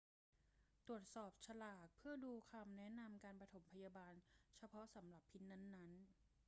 ตรวจสอบฉลากเพื่อดูคำแนะนำการปฐมพยาบาลเฉพาะสำหรับพิษนั้น ๆ